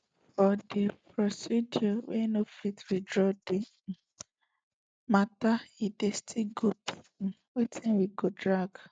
for di procedure we no fit withdraw di um mata e still go be um sometin we go drag